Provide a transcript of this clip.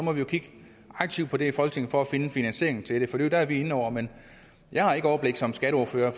må vi jo kigge aktivt på det i folketinget for finde en finansiering til det for det er vi inde over men jeg har ikke overblik som skatteordfører